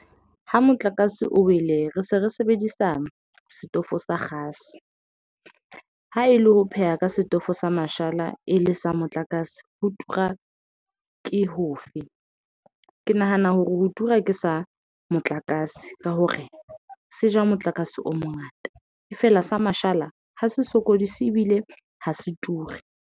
Ha motlakase o wele, re se re sebedisa setofo sa kgase. Ha e le ho pheha ka setofo sa mashala e le sa motlakase, ho tura ke hofe? Ke nahana hore ho tura ke sa motlakase ka hore se ja motlakase o mongata. E feela sa mashala hs se sokodise ebile ha se ture.